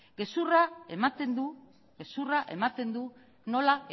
gezurra ematen du nola